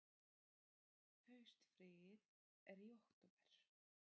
Haustfríið er í október.